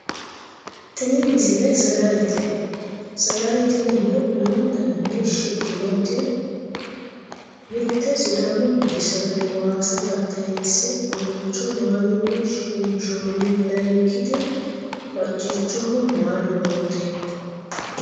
tini misile sagalete sagale tinino lamu daninni shiqqinote mitte sidaamu budu sagale waasa tattayiinsenna omolcho maalunni shiqinshoonni layeenkiti bacccichoho maalu noote